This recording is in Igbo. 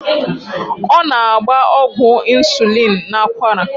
Ọ na-agba ọgwụ ịnsulịn n'akwara.